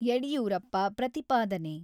ಯಡಿಯೂರಪ್ಪ ಪ್ರತಿಪಾದನೆ.